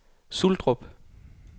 Suldrup